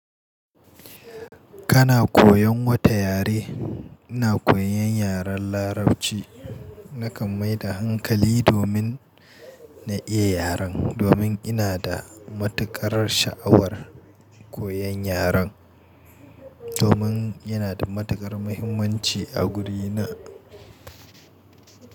Kana koyan wata yare? Ina koyan yaren Larabci. Naka mai da hankali domin na iya yaren, domin ina da matukar sha'awar koyan yaren, domin yana da matakar muhimmanci a gurina.